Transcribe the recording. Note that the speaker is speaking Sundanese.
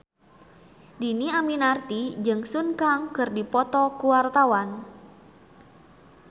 Dhini Aminarti jeung Sun Kang keur dipoto ku wartawan